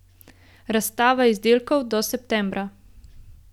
Razstava izdelkov do septembra.